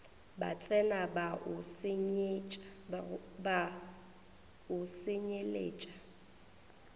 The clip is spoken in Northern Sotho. ba tsena ba o senyelet